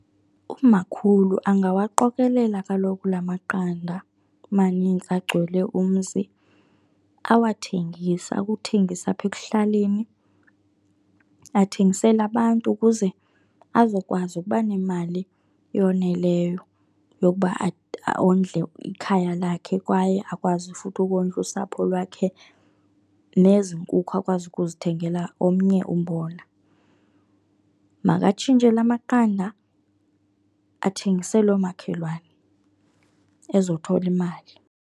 Umakhulu angawaqokelela kaloku la maqanda manintsi agcwele umzi awathengise, akuthengise apha ekuhlaleni. Athengisele abantu ukuze azokwazi ukuba nemali eyoneleyo yokuba ondle ikhaya lakhe kwaye akwazi futhi ukondla usapho lwakhe, nezi nkukhu akwazi ukuzithengela omnye umbona. Makatshintshe la maqanda, athengisele oomakhelwane ezothola imali.